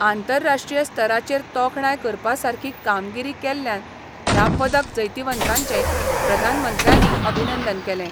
आंतराष्ट्रीय स्तराचेर तोखणाय करपा सारकी कामगिरी केल्ल्यान ह्या पदक जैतिवंतांचें प्रधानमंत्र्यांनी अभिनंदन केलें.